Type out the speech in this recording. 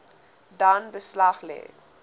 dan beslag lê